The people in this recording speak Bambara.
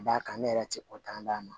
Ka d'a kan ne yɛrɛ ti ko tan d'a ma